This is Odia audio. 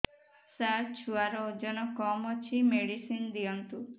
ସାର ଛୁଆର ଓଜନ କମ ଅଛି ମେଡିସିନ ଦିଅନ୍ତୁ